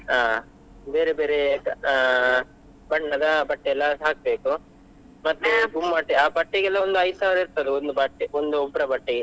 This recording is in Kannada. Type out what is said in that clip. ಅಹ್ ಬೇರೆ ಬೇರೆ ಅಹ್ ಬಣ್ಣದ ಬಟ್ಟೆಯೆಲ್ಲ ಹಾಕ್ಬೇಕು, ಮತ್ತೆ ಆ ಬಟ್ಟೆಗೆ ಎಲ್ಲಾ ಒಂದು ಐದು ಸಾವಿರಾ ಇರ್ತದೆ, ಒಂದು ಬಟ್ಟೆ ಒಂದು ಉಬ್ರ ಬಟ್ಟೆಗೆ.